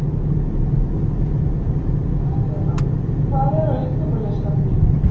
Aríella, hvað er á innkaupalistanum mínum?